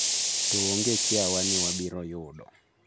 “To onge kiawa ni wabiro yudo.”